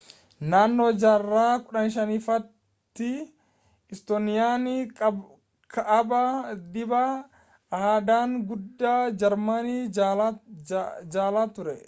naannoo jarraa 15ffaatti istooniyaan kaabaa dhiibbaa aadaan guddaa jarmanii jala turte